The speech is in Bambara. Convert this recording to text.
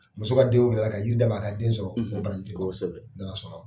Muso ka den ko wuli ka jiri da' ma a ka den sɔrɔ o baraji tɛ ban kosɛbɛ ni ala sɔnna